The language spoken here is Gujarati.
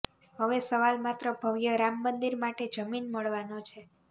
હવે સવાલ માત્ર ભવ્ય રામ મંદિર માટે જમીન મળવાનો છે